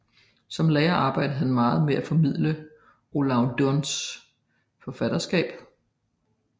Som lærer arbejdede han meget med at formidle Olav Duuns forfatterskab